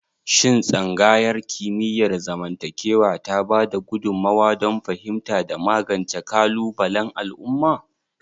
Shin Tsangayar Kimiyyar zamantakewa ta ba da gudummawa don fahimta da magance kalubalen al'umma?